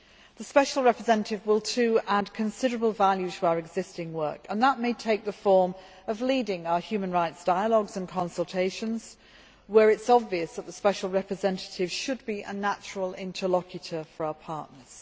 The Special Representative will also add considerable value to our existing work, and that may take the form of leading our human rights dialogues and consultations, where it is obvious that the Special Representative should be a natural interlocutor for our partners.